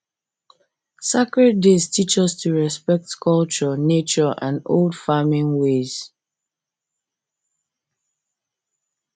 sacred days teach us to respect culture nature and old farming ways